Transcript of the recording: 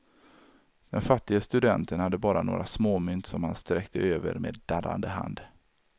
Den fattige studenten hade bara några småmynt som han sträckte över med darrande hand.